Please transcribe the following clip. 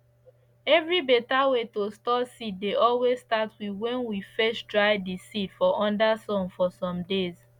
every beta way to store seed dey always start with wen we first dry di seed for under sun for some days